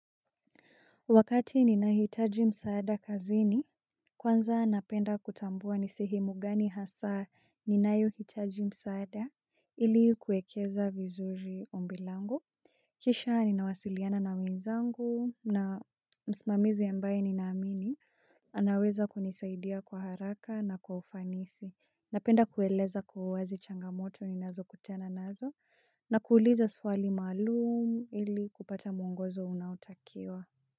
Wakati ninahitaji msaada kazini, kwanza napenda kutambua nisehemu gani hasa ninayohitaji msaada ili kuekeza vizuri ombilango. Kisha ninawasiliana na wenzangu na msimamizi ambaye ninaamini. Anaweza kunisaidia kwa haraka na kwa ufanisi. Napenda kueleza kwa uwazi changamoto ninazokutana nazo na kuuliza swali maalum ili kupata mwongozo unaotakiwa.